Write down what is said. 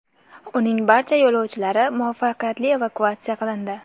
Uning barcha yo‘lovchilari muvaffaqiyatli evakuatsiya qilindi.